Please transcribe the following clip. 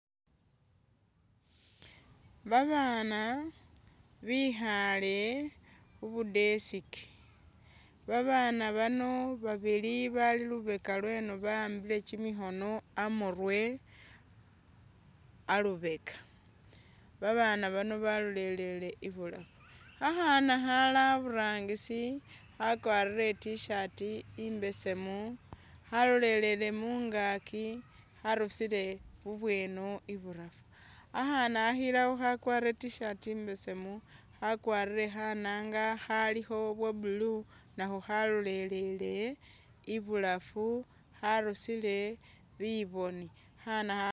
Babaana bikhaale khubu'desk, babaana bano babili bali lubeka lweno ba'ambile kyimikhoono amurwe alubeka abaana bano balolelele ibulaafu, akhaana Khali aburangisi khakwarile I't-shirt imbeseemu khalolelele mungaaki kharusile bubweno ibulaafu, khakhaana khakhilakho khakwarile I't-shirt imbeseemu khakwarile khanaanga khalikho bwa'blue nakho khalolelele ibulaafu kharusile bibooni, akhana ...